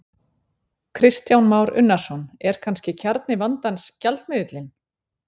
Kristján Már Unnarsson: Er kannski kjarni vandans gjaldmiðillinn?